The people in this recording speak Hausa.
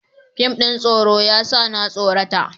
Fim ɗin tsoro ya sa na tsorata.